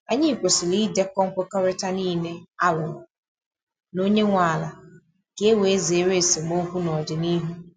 Anyị kwesịrị idekọ nkwekọrịta niile a rụrụ na onye nwe ala ka e wee zere esemokwu n’ọdịnihu.